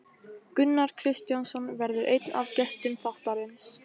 Gunnar Kristjánsson verður einn af gestum þáttarins.